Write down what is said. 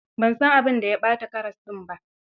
Ban san abin da ya ɓata ƙaras ɗin ba.